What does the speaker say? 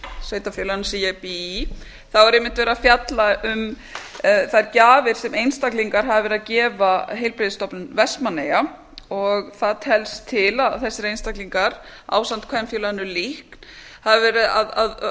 sveitarfélaginu sem ég bý í þá er einmitt verið að fjalla um þær gjafir sem einstaklingar hafa verið að gefa heilbrigðisstofnun vestmannaeyja og það telst til að þessir einstaklingar ásamt kvenfélaginu líkn hafi verið að